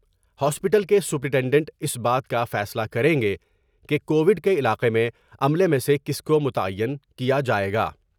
Hospital کے superintendent اس بات کا فیصلہ کریںگئے کہ کووڈ کے علاقہ میں عملہ میں سے کس کو متعین کیا جاۓ گا ۔